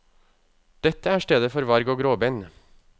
Dette er stedet for varg og gråbein.